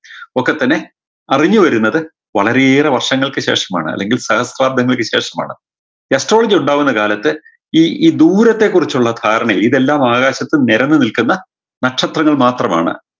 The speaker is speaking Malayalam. ഒക്കെത്തന്നെ അറിഞ്ഞുവരുന്നത് വളരെയേറെ വർഷങ്ങൾക്ക് ശേഷമാണ് സഹസ്ക്രാബ്തങ്ങൾക്ക് ശേഷമാണ് astrology ഉണ്ടാവുന്ന കാലത്ത് ഈ ഈ ദൂരത്തെ കുറിച്ചുള്ള ധാരണയിൽ ഇതെല്ലാം ആകാശത്ത് നിരന്ന് നിൽക്കുന്ന നക്ഷത്രങ്ങൾ മാത്രമാണ്